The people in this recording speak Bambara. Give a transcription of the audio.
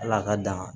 Ala ka dan